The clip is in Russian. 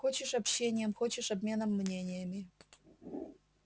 хочешь общением хочешь обменом мнениями